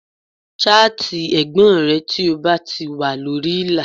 Ṣáàtì ẹ̀gbọ́n rẹ tí ó bá ti wà lórí ìlà